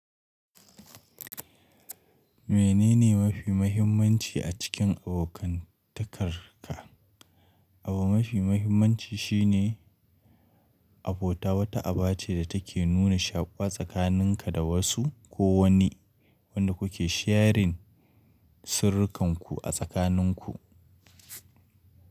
Menene mafi muhimmanci a cikin abokantakarka? Aba mafi muhimmanci shine abota wata aba ce da take nuna shaƙuwa tsakaninka da wasu ko wani wanda kuke sharing sirrikanku a tsakaninku.